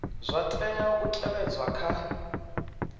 zwa tea u tevhedzwa kha